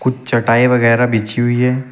चटाई वगैरा बिछी हुई है।